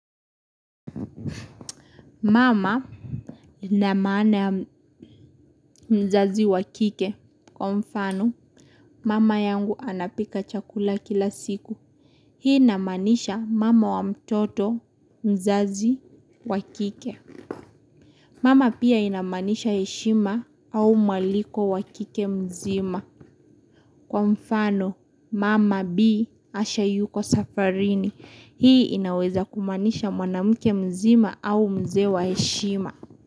Mama ina maana ya mzazi wa kike. Kwa mfano, mama yangu anapika chakula kila siku. Hii inamanisha mama wa mtoto mzazi wa kike. Mama pia inamaanisha heshima au mwaliko wa kike mzima. Kwa mfano, mama bi. Asha yuko safarini. Hii inaweza kumaanisha mwanamke mzima au mzee wa heshima.